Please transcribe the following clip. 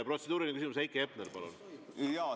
Protseduuriline küsimus, Heiki Hepner, palun!